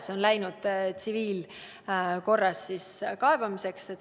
See on läinud üle tsiviilkorras kaebamiseks.